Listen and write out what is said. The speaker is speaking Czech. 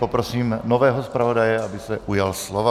Prosím nového zpravodaje, aby se ujal slova.